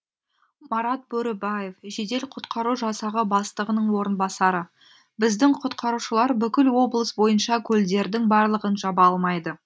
марат бөрібаев жедел құтқару жасағы бастығының орынбасары біздің құтқарушылар бүкіл облыс бойынша көлдердің барлығын жаба алмайды